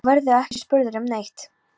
Þá verðurðu ekki spurður um neitt.